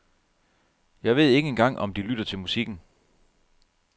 Jeg ved ikke engang om de lytter til musikken.